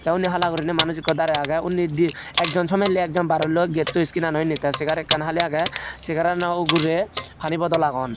undi hala guriney manuch ekko darey agey undi dye ekjon somelli ekjon barelloi getton sceenano indi te Segar ekkan Hali agey segarano ugurey Pani bodol agon.